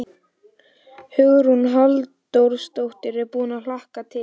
Hugrún Halldórsdóttir: Ertu búinn að hlakka til?